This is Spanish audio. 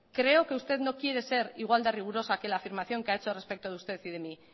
creo que usted no quiere ser igual de rigurosa que la afirmación que ha hecho respecto de usted y de mi